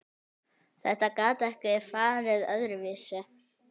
Þetta gat ekki farið öðruvísi.